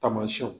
Tamasiyɛnw